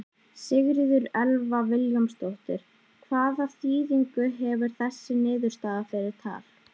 Sigríður Elva Vilhjálmsdóttir: Hvaða þýðingu hefur þessi niðurstaða fyrir Tal?